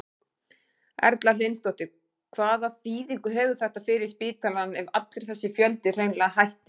Erla Hlynsdóttir: Hvaða þýðingu hefur þetta fyrir spítalann ef allur þessi fjöldi hreinlega hættir?